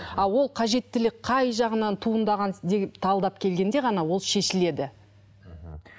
а ол қажеттілік қай жағынан туындаған талдап келгенде ғана ол шешіледі мхм